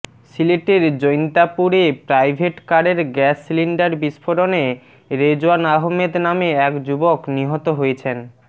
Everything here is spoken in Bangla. সিলেটের জৈন্তাপুরে প্রাইভেটকারের গ্যাস সিলিন্ডার বিস্ফোরণে রেজওয়ান আহমদ নামে এক যুবক নিহত হয়েছেন